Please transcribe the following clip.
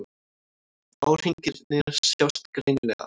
Árhringirnir sjást greinilega.